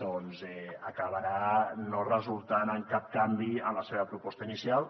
doncs acabarà no resultant en cap canvi en la seva proposta inicial